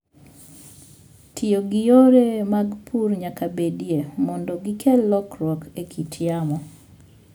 Tiyo gi yore mag pur nyaka bedie mondo gikel lokruok e kit yamo.